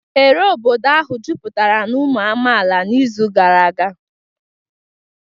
Oghere obodo ahụ jupụtara na ụmụ amaala n'izu gara aga